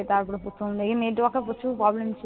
তারপরে প্রথমদিকে network এর প্রচুর problem ছিল।